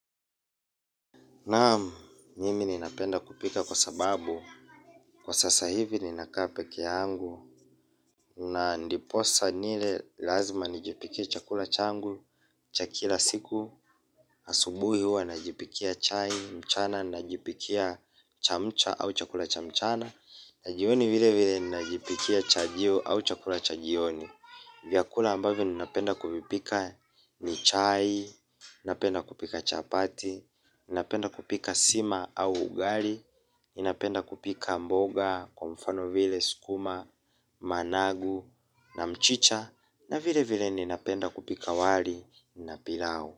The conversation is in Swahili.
Naam, nimi ninapenda kupika kwa sababu, kwa sasa hivi ninakaa pekeangu, na ndiposa nile lazima nijipikie chakula changu, cha kila siku, asubuhi hua najipikia chai, mchana, najipikia chamcha au chakula cha mchana, na jioni vile vile ninajipikia chajio au chakula cha jioni. Vyakula ambavyo ninapenda kuvipika ni chai, ninapenda kupika chapati, ninapenda kupika sima au ugari, ninapenda kupika mboga, kwa mfano vile, skuma, managu na mchicha na vile vile ninapenda kupika wali na pilau.